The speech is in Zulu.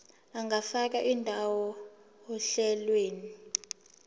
ungafaka indawo ohlelweni